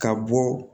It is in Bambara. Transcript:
Ka bɔ